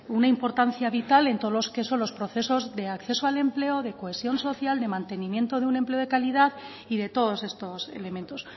una importancia vital en todos los que son los procesos de acceso al empleo de cohesión social de mantenimiento de un empleo de calidad y de todos estos elementos